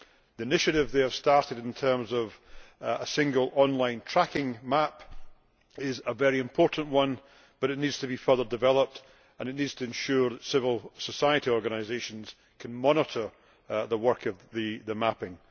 The initiative they have started, in terms of a single online tracking map, is a very important one, but it needs to be further developed, and civil society organisations must be able to monitor the work of the mapping.